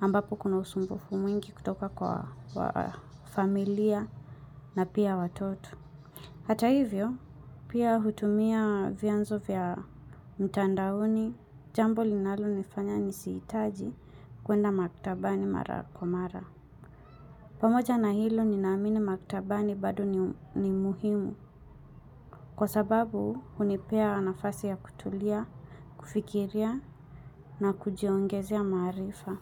ambapo kuna usumbufu mwingi kutoka kwa familia na pia watoto. Hata hivyo, pia hutumia vyanzo vya mtandaoni, jambo linalonifanya nisihitaji kuenda maktabani mara kwa mara. Pamoja na hilo, ninaamini maktabani bado ni muhimu. Kwa sababu, hunipea nafasi ya kutulia, kufikiria na kujiongezea maarifa.